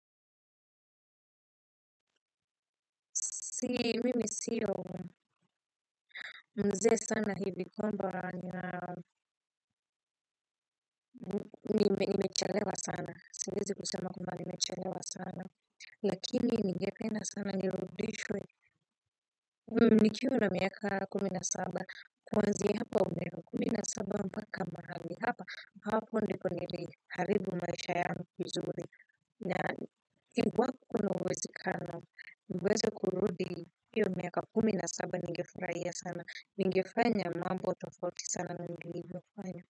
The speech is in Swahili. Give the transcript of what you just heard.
Si, mimi siyo mzee sana hivi kwamba nimechelewa sana, siwezi kusema kwamba nimechelewa sana, lakini ningependa sana, nirudishwe, nikiwa na miaka kumi na saba, kuanzia hapa miaka kumi na saba mpaka mahali, hapa, hapa ndiko niliharibu maisha yangu vizuri, na iwapo kuna uwezekano niweze kurudi hiyo miaka kumi na saba, ningefraia sana ningefanya mambo tofauti sana na nilivyofanya.